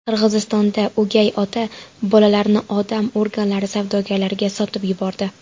Qirg‘izistonda o‘gay ota bolalarni odam organlari savdogarlariga sotib yubordi.